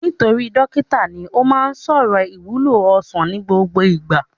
Nítorí dókítà ní, ó má ń sọ̀rọ̀ ìwúlò ọsàn ní gbogbo ìgbà